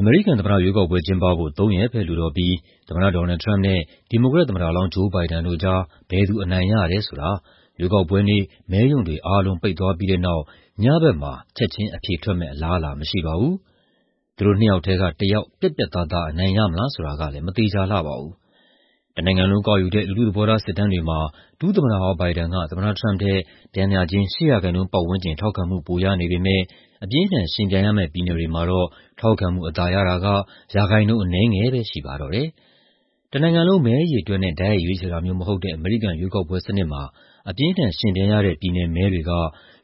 အမေရိကန်သမ္မတရွေးကောက်ပွဲ ကျင်းပဖို့ ၃ ရက်ပဲလိုတော့ပြီး သမ္မတ Donald Trump နဲ့ ဒီမိုကရက် သမ္မတလောင်း Joe Biden တို့ကြား ဘယ်သူအနိုင်ရတယ်ဆိုတာ ရွေးကောက်ပွဲနေ့ မဲရုံတွေအားလုံး ပိတ်သွားပြီးတဲ့နောက် ညဘက်မှာ ချက်ချင်းအဖြေထွက်မယ့် အလားအလာ မရှိပါဘူး။ သူတို့နှစ်ယောက်ထဲက တယောက် ပြတ်ပြတ်သားသား အနိုင်ရမလား ဆိုတာကလည်း မသေချာလှပါဘူး။ တနိုင်ငံလုံးကောက်ယူတဲ့ လူထုသဘောထား စစ်တမ်းတွေမှာ ဒုသမ္မတဟောင်း Biden က သမ္မတ Trump ထက် ပျမ်းမျှခြင်း ၈ ရာခိုင်နှုန်းပတ်ဝန်းကျင် ထောက်ခံမှု ပိုရနေပေမယ့် အပြင်းအထန် ယှဉ်ပြိုင်ရမယ့် ပြည်နယ်တွေမှာတော့ ထောက်ခံမှုအသာရတာက ရာခိုင်နှုန်းအနည်းငယ်ပဲ ရှိပါတော့တယ်။ တနိုင်ငံလုံး မဲအရေအတွက်နဲ့ တိုက်ရိုက်ရွေးချယ်တာမျိုး မဟုတ်တဲ့ အမေရိကန် ရွေးကောက်ပွဲစနစ်မှာ အပြင်းအထန် ယှဉ်ပြိုင်ရတဲ့ ပြည်နယ်မဲတွေက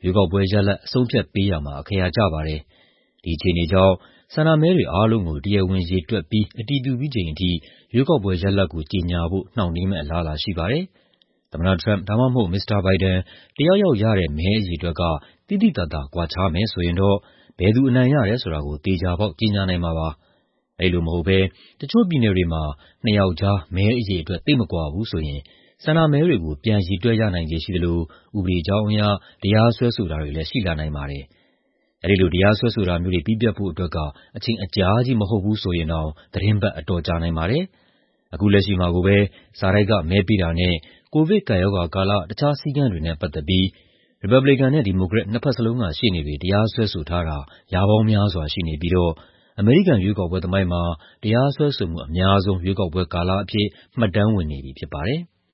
ရွေးကောက်ပွဲရလဒ် အဆုံးအဖြတ်ပေးရာမှာ အခရာကျပါတယ်။ ဒီအခြေအနေကြောင့် ဆန္ဒမဲတွေအားလုံးကို တရားဝင်ရေတွက်ပြီး အတည်ပြုပြီးချိန်ထိ ရွေးကောက်ပွဲရလဒ်ကို ကြေညာဖို့ နှောင့်နှေးမယ့် အလားအလာ ရှိနေပါတယ်။ သမ္မတ Trump ဒါမှမဟုတ် Mr. Biden တယောက်ယောက်ရတဲ့ မဲအရေအတွက်က သိသိသာသာ ကွာခြားမယ်ဆိုရင်တော့ ဘယ်သူအနိုင်ရတယ် ဆိုတာကို သေချာပေါက် ကြေညာနိုင်မှာပါ။ အဲဒီလိုမဟုတ်ဘဲ တချို့ပြည်နယ်တွေမှာ နှစ်ယောက်ကြား မဲအရေအတွက် သိပ်မကွာဘူးဆိုရင် ဆန္ဒမဲတွေကို ပြန်ရေတွက်ရနိုင်ခြေရှိသလို ဥပဒေကြောင်းအရ တရားစွဲဆိုတာတွေလည်း ရှိလာနိုင်ပါတယ်။ အဲဒီလို တရားစွဲဆိုတာတွေ ပြီးပြတ်ဖို့အတွက် အချိန်အကြာကြီး မဟုတ်ဘူးဆိုရင်တောင် သီတင်းပတ် အတော်ကြာနိုင်ပါတယ်။ အခုလက်ရှိမှာကိုပဲ စာတိုက်ကမဲပေးတာနဲ့ ကိုဗစ်ကပ်ရောဂါကာလ တခြားစည်းကမ်းတွေနဲ့ ပတ်သက်လို့ ရီပတ်ဘလစ်ကန်နဲ့ ဒီမိုကရက် နှစ်ဖက်လုံးက ရှေ့နေတွေ တရားစွဲဆိုထားတာ ရာပေါင်းများစွာ ရှိနေပြီးတော့ အမေရိကန် ရွေးကောက်ပွဲသမိုင်းမှာ တရားစွဲဆိုမှုအများဆုံး ရွေးကောက်ပွဲကာလအဖြစ် မှတ်တမ်းဝင်နေပြီ ဖြစ်ပါတယ်။